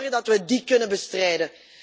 We moeten zorgen dat we die kunnen bestrijden.